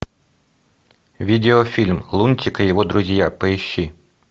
видеофильм лунтик и его друзья поищи